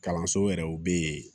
Kalanso yɛrɛw bɛ yen